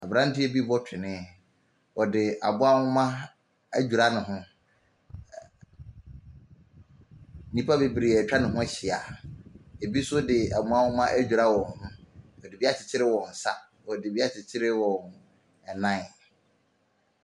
Abranteɛ bi bɔ twenee. Ɔde aboa homa adwira ne ho. Nnipa bebree etwa ne ho ahyia. Ebi so de aboa homa adwira wɔn ho. Wɔde bi akyirikyiri wɔn nsa. Wɔde bi akyirikyiri wɔn nan.